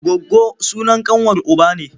Goggo sunan ƙanwar uba ne.